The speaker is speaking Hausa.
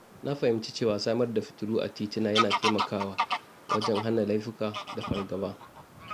Na fahimci cewa samar da fitilu a tituna yana taimakawa wajen hana laifuka da fargaba.